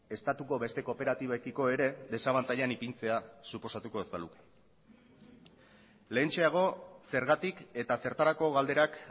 estatuko beste kooperatibekiko ere desabantailan ipintzea suposatuko ez baluke lehentxeago zergatik eta zertarako galderak